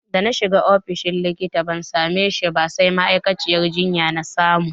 Dana shiga ofishin likita ban same shi ba sai ma'aikaciyar jinya na samu.